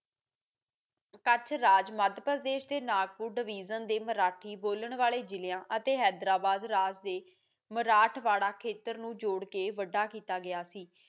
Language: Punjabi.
ਕੱਚ ਰਾਜ ਮਧ੍ਯ ਦੇ ਨਾਗਪੁਰ ਡਿਵਿਸਿਨ ਤੇ ਮਰਾਠੀ ਬੋਲਣ ਵਾਲੇ ਜਿਲਿਆਂ ਅਤੇ ਹੈਦਰਾਬਾਦ ਰਾਜ ਮਰਾਠ ਵਾੜਾ ਖੇਤਰ ਨੂੰ ਜੋੜ ਕੇ ਵਡਾ ਕੀਤਾ